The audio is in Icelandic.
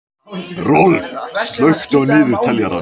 Rolf, slökktu á niðurteljaranum.